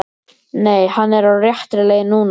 Nei, hann er á réttri leið núna.